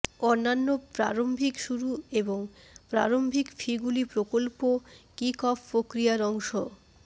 অন্যান্য প্রারম্ভিক শুরু এবং প্রারম্ভিক ফিগুলি প্রকল্প কিকঅফ প্রক্রিয়ার অংশ